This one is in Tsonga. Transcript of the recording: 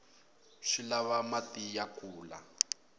swi lava mati ku kula